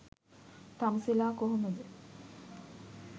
තමුසෙලා කොහොමද